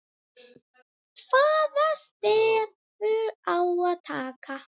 Hvaða stefnu á að taka?